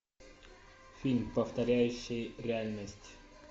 фильм повторяющий реальность